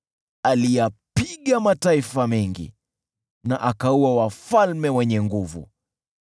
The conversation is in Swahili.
Aliyapiga mataifa mengi, na akaua wafalme wenye nguvu: